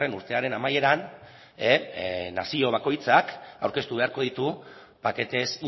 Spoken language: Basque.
urtearen amaieran nazio bakoitzak aurkeztu beharko ditu paquetes